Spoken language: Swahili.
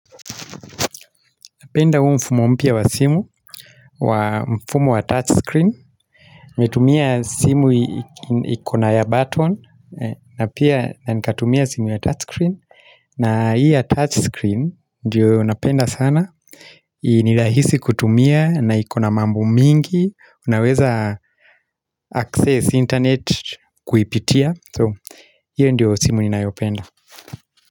Napenda huu mfumo mpya wa simu, mfumo wa touch screen. Nimetumia simu ikona ya button, na pia na nikatumia simu ya touch screen. Na hiiya touch screen, ndiyo napenda sana. Nirahisi kutumia, na ikona mambo mingi, unaweza access internet kuipitia. So, hiyo ndiyo simu ninayopenda.